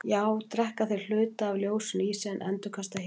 þá drekka þeir hluta af ljósinu í sig en endurkasta hinu